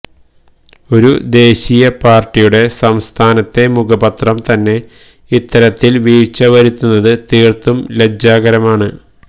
ഒരു ദേശീയ പാർട്ടിയുടെ സംസ്ഥാനത്തെ മുഖപത്രം തന്നെ ഇത്തരത്തിൽ വീഴ്ച്ച വരുത്തുന്നത് തീർത്തും ലജ്ജാകരമാണ്